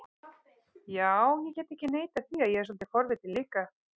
Já, ég get ekki neitað því að ég er svolítið forvitinn líka